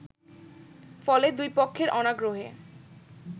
ফলে দুইপক্ষের অনাগ্রহে